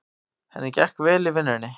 Henni gekk vel í vinnunni.